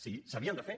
sí s’havien de fer